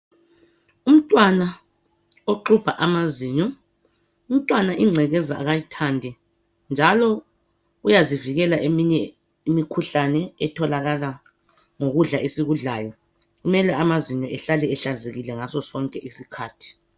Umntwana oxubha amazinyo, umntwana ingcekeza akayithandi njalo uyazivikela eminye imikhuhlane etholakala ngokudla esikudlayo kumele amazinyo ehlale ehlanzekile ngaso sonke isikhathi.